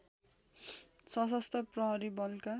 शसस्त्र प्रहरी बलका